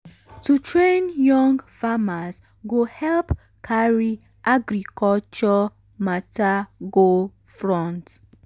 to train young um farmers go help carry um agriculture um matter go front.